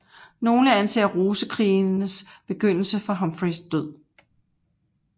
Nogle anser Rosekrigenes begyndelse fra Humphreys død